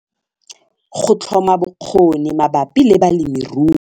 Go tlhoma bokgoni mabapi le balemirui.